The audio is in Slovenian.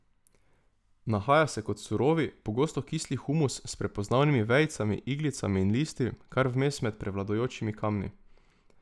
Nahaja se kot surovi, pogosto kisli humus, s prepoznavnimi vejicami, iglicami in listi, kar vmes med prevladujočimi kamni.